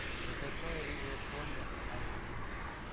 закачай рыжая соня аш ди